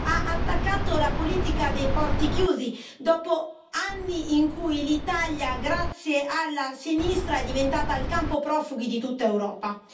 ha attaccato la politica dei porti chiusi, dopo anni in cui l'Italia, grazie alla sinistra, è diventata il campo profughi di tutta Europa.